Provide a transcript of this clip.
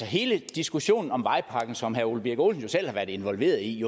hele diskussionen om vejpakken som herre ole birk olesen jo selv har været involveret i